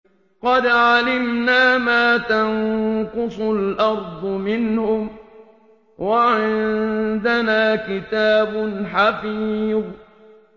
قَدْ عَلِمْنَا مَا تَنقُصُ الْأَرْضُ مِنْهُمْ ۖ وَعِندَنَا كِتَابٌ حَفِيظٌ